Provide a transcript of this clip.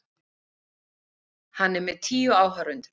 Hann er með tíu áhorfendur.